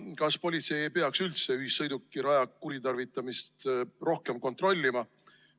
Kas politsei ei peaks üldse ühissõidukiraja kuritarvitamist rohkem kontrollima?